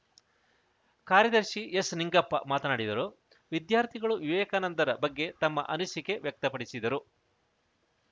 ಕಾರ್ಯದರ್ಶಿ ಎಸ್‌ ನಿಂಗಪ್ಪ ಮಾತನಾಡಿದರು ವಿದ್ಯಾರ್ಥಿಗಳು ವಿವೇಕಾನಂದರ ಬಗ್ಗೆ ತಮ್ಮ ಅನಿಸಿಕೆ ವ್ಯಕ್ತಪಡಿಸಿದರು